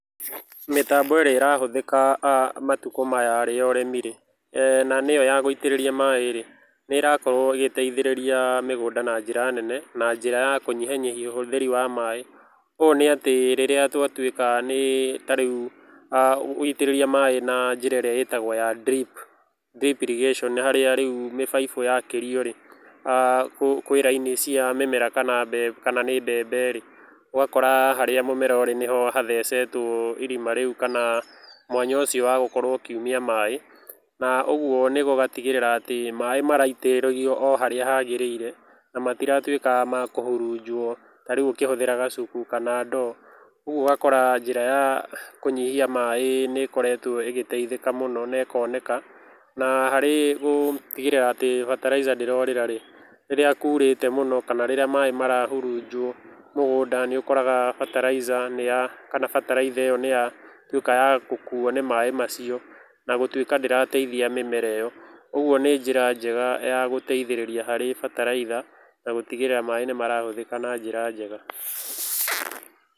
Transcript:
Mĩtambo ĩrĩa ĩrahũthĩka a matũkũ maya-rĩ ya ũrĩmi-rĩ, na nĩyo ya gũitĩrĩria maĩ-rĩ nĩrakorwo ĩgĩteithĩrĩria mĩgũnda na njĩra nene, na njĩra ya kũnyihanyihia ũhũthĩri wa maĩ. Ũnĩatĩ rĩrĩa twatwĩka nĩĩ nĩtarĩũ a gũitĩrĩria maĩ na njĩra ĩrĩa itagwo ya drip, drip irrigation nĩ harĩa rĩũ mĩbaibũ yakĩrio-rĩ, a kwĩ raini cia mĩmera kana nĩ mbembe-rĩ. Ũgakora harĩa mũmera ũrĩ nĩho gathecetwo irima rĩũ kana mwanya ũcĩo ũgakorwo ũkiũmia maĩ na ũgũo gũgatigĩrĩra ati maĩ maraitĩrĩrio oharĩa hagĩrĩire na matiratwika makũhũrũnjwo tarĩũ ũkĩhuthĩra gacuku kana ndoo. Ũgũo ũgakora njĩra ya kũnyihia maĩ nĩikoretwo ĩgĩteithika mũno nekoneka, na hari gũtigirĩra atĩ bataraica ndĩrorĩra-rĩ, rĩrĩa kũrĩte mũno kana rirĩa maĩ marahũnjũo mugunda nĩũkoraga bataraica niya kanavbataraitha iyo niyatwĩka ya gũkũo nĩ maĩ macio nagũtũika ndĩrateithia mĩmera ĩyo. Ũgũo nĩ njira njega ya gũteithĩrĩria harĩ bataraitha na gũtigĩrĩra maĩ nĩ marahuthĩka na njĩra njega.